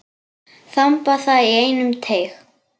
Þamba það í einum teyg.